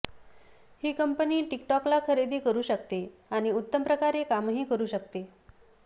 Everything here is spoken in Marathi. ही कंपनी टिकटॉकला खरेदी करू शकते आणि उत्तम प्रकारे कामही करू शकते